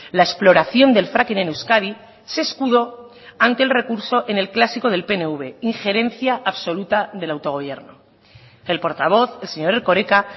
la exploración del fracking en euskadi se escudó ante el recurso en el clásico del pnv injerencia absoluta del autogobierno el portavoz el señor erkoreka